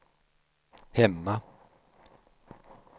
hemma